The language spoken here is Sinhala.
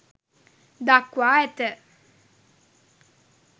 දක්වා ඇත.